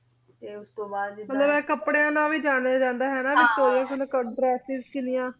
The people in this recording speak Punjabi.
ਤੇ ਓਸ ਤਨ ਬਾਅਦ ਜਿਦਾਂ ਮਤਲਬ ਆਯ ਅਕ੍ਪ੍ਰ੍ਯਾਂ ਦਾ ਵੀ ਜਾਨੀਆਂ ਜਾਂਦਾ ਆਯ ਨਾ ਹੈਂ ਨਾ ਭਾਈ ਸੋਹਣੇ ਸੋਹਣੇ contrasts ਕਿਨਿਯਾਂ ਏਹੋ ਬਿਲਕੁਲ ਬਿਲਕੁਲ